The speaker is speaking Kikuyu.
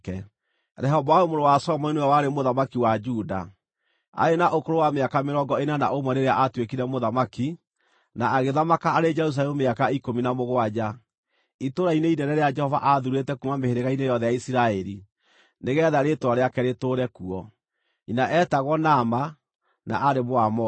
Rehoboamu mũrũ wa Solomoni nĩwe warĩ mũthamaki wa Juda. Aarĩ na ũkũrũ wa mĩaka mĩrongo ĩna na ũmwe rĩrĩa aatuĩkire mũthamaki, na agĩthamaka arĩ Jerusalemu mĩaka ikũmi na mũgwanja, itũũra-inĩ inene rĩrĩa Jehova aathuurĩte kuuma mĩhĩrĩga-inĩ yothe ya Isiraeli, nĩgeetha Rĩĩtwa rĩake rĩtũũre kuo. Nyina eetagwo Naama, na aarĩ Mũamoni.